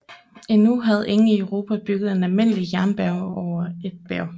Endnu havde ingen i Europa bygget en almindelig jernbane over et bjerg